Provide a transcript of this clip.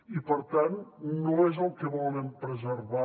i per tant no és el que volen preservar